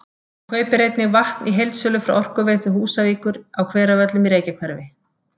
Hún kaupir einnig vatn í heildsölu frá Orkuveitu Húsavíkur á Hveravöllum í Reykjahverfi.